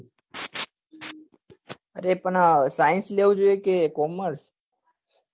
અરે પણ પણ science લેવું જોઈએ કે commerce